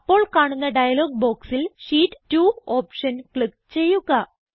അപ്പോൾ കാണുന്ന ഡയലോഗ് ബോക്സിൽ ഷീറ്റ് 2 ഓപ്ഷൻ ക്ലിക്ക് ചെയ്യുക